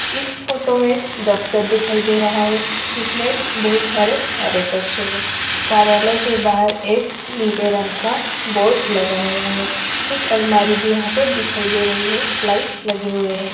इस फ़ोटो मे एक द्फ़्तर दिखाई दे रहा है जिसमे एक बहोत सारे कार्य कक्ष है कार्यालय के बाहर एक नीले रंग का बोर्ड लगा हुआ है कुछ अलमारी भी यहा पर दिखाई दे रही है लाइट लगे हुए है।